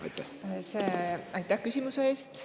Aitäh küsimuse eest!